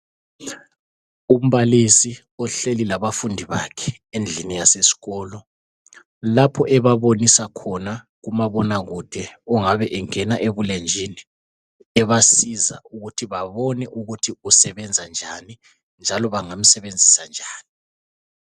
Umbalisi ohleli labafundi bakhe endlini yaseskolo, lapho ebabonisa khona umabonakude ongabe engena esebulenjini, ebasiza ukuthi babone ukuthi kusebenza njani, njalo bangamsebenzisa njani.